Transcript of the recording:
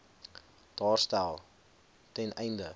daarstel ten einde